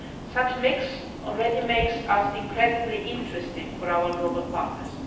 Such a mix already makes us incredibly interesting for our global partners.